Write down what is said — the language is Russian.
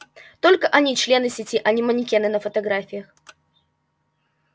только они члены сети а не манекены на фотографиях